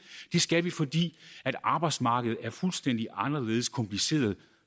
det skal vi fordi arbejdsmarkedet er fuldstændig anderledes kompliceret